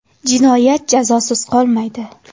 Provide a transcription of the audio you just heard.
Jinoyat jazosiz qolmaydi.